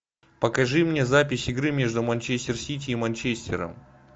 покажи мне запись игры между манчестер сити и манчестером